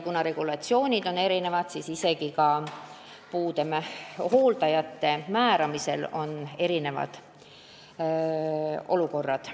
Kuna regulatsioonid on erinevad, siis on isegi puudega inimeste hooldajate määramisel erinevad olukorrad.